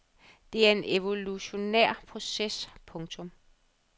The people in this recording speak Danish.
Det er en evolutionær proces. punktum